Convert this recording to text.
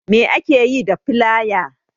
Me ake yi da filaya?